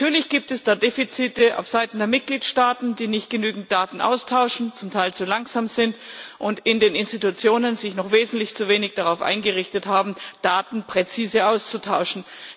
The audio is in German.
Natürlich gibt es da Defizite aufseiten der Mitgliedstaaten, die nicht genügend Daten austauschen, zum Teil zu langsam sind und sich in den Institutionen noch viel zu wenig darauf eingerichtet haben, Daten präzise auszutauschen.